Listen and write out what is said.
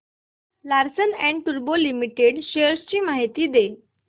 Larsen and टुर्बो limited shares ची माहिती दे